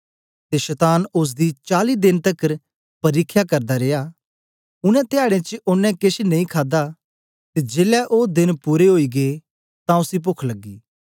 ते शतान ओसदी चाली देन तकर परिख्या करदा रिया उनै धयाडें च ओनें केछ नेई खादा ते जेलै ओ देन पूरे ओई गै तां उसी पोख लगी